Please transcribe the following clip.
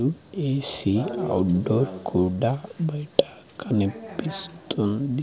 ఏ C outdoor కూడా బైట కనిపిస్తుంది.